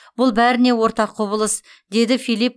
бұл бәріне ортақ құбылыс деді филипп